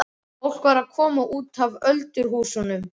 Fólk var að koma út af öldurhúsunum.